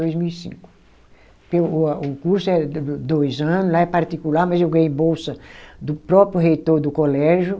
Dois mil e cinco. Porque o a o curso é do dois anos, lá é particular, mas eu ganhei bolsa do próprio reitor do colégio.